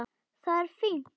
Það er fínt.